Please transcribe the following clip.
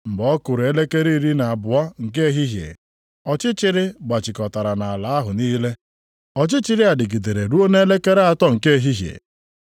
Mgbe ọ kụrụ elekere iri na abụọ nke ehihie, ọchịchịrị gbachikọtara nʼala ahụ niile. Ọchịchịrị a dịgidere ruo nʼelekere atọ nke ehihie.